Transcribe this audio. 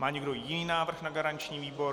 Má někdo jiný návrh na garanční výbor?